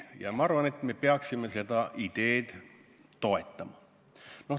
Ja ma arvan, et me peaksime seda ideed toetama.